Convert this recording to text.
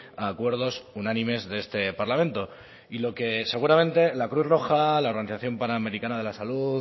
a acuerdos unánimes de este parlamento y lo que seguramente la cruz roja la organización panamericana de la salud